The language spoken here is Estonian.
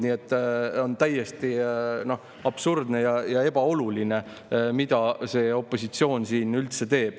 Nii et on täiesti absurdne ja pole oluline, mida see opositsioon siin üldse teeb.